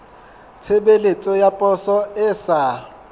tshebeletso ya poso e sa